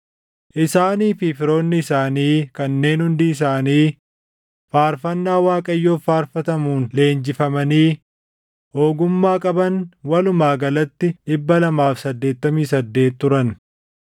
Isaanii fi firoonni isaanii kanneen hundi isaanii faarfannaa Waaqayyoof faarfatamuun leenjifamanii ogummaa qaban walumaa galatti 288 turan.